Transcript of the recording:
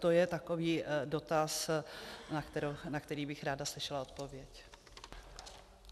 To je takový dotaz, na který bych ráda slyšela odpověď.